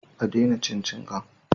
A daina cin cingan